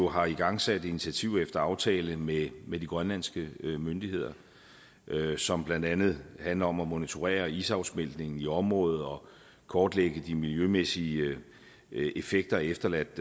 har igangsat initiativer efter aftale med med de grønlandske myndigheder som blandt andet handler om at monitorere isafsmeltningen i området og kortlægge de miljømæssige effekter af efterladt